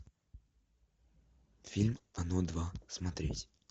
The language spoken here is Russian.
фильм оно два смотреть